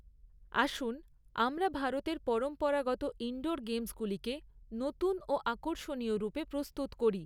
আসুন, আমরা ভারতের পরম্পরাগত ইনডোর গেমসগুলিকে নতুন ও আকর্ষণীয়় রূপে প্রস্তুত করি।